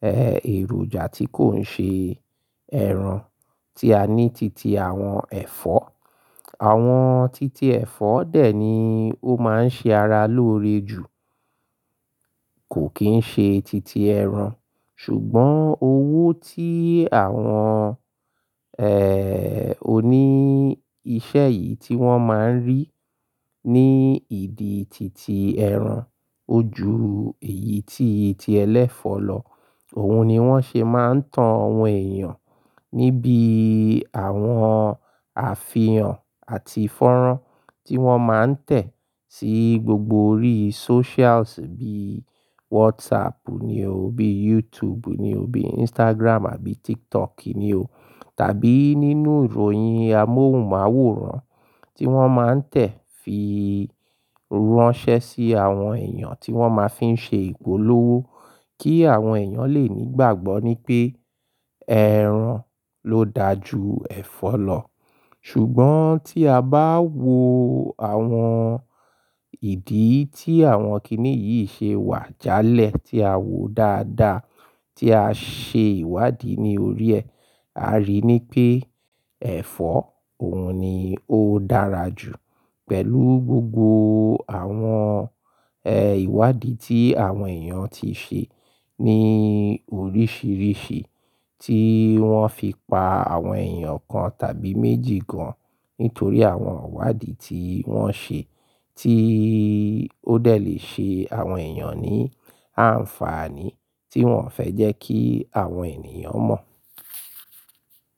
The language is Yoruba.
ẹ́, èròjà tí kò ń ṣe ẹran, tí a ní titi àwọn ẹ̀fọ́. Àwọn titi ẹ̀fọ́ dẹ̀ ni ó máa ń ṣe ara lóore jù, kò kín ṣe titi ẹran. Ṣùgbọ́n owó tí àwọn, ẹ́ẹ́, oní iṣẹ́ yìí tí wọ́n máa ń rí ní ìdí titi ẹran, ó ju èyí tí ti ẹlẹ́fọ̀ lọ. Òun ni wọ́n ṣe máa ń tan àwọn èèyàn níbíi àwọn àfihàn àti ìfọ̀rọ̀ tí wọ́n máa ń tẹ̀ sí gbogbo orí socials bí WhatsApp ni o, bí YouTube ni o, bí Instagram àbí TikTok ni o tàbí nínú ìròyìn amóhùnmáwòrán tí wọ́n máa ń tẹ̀ fii ránṣẹ́ sí àwọn èèyàn tí wọ́n máa fí ń ṣe ìpolówó kí àwọn èèyàn lè nígbàgbọ́ ní pé ẹran ló daa ju ẹ̀fọ́ lọ. Ṣùgbọ́n tí a bá wo àwọn ìdí tí àwọn kiní yìí ṣe wà jálẹ̀ tí a wòó dáadáa, tí a ṣe ìwádìí ní orí ẹ, a rí i ní pé ẹ̀fọ́ òun ni ó dára jù pẹ̀lú gbogbo àwọn, ẹ́, ìwádìí tí àwọn èèyàn ti ṣe ní oríṣiríṣi tí wọ́n fi pa àwọn èèyàn kan tàbí méjì gan nítorí àwọn ìwádìí tí wọ́n ṣe tí ó dẹ̀ lè ṣe àwọn èèyàn ní àǹfààní tí wọ́n fẹ́ jẹ́ kí àwọn ènìyàn mọ̀.